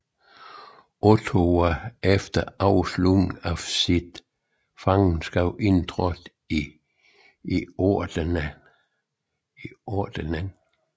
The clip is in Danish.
Otto var efter afslutningen af sit fangenskab indtrådt i ordenen